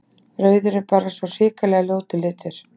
Rauður er bara svo hrikalega ljótur litur.